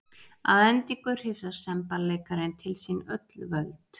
Að endingu hrifsar semballeikarinn til sín öll völd.